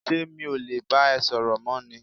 ṣé mi ò le bá ẹ sọ̀rọ̀ mọ́ ni?